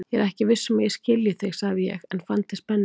Ég er ekki viss um að ég skilji þig, sagði ég en fann til spennu.